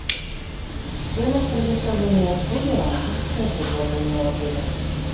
стоимость предоставления услуги романтическое предложение в отеле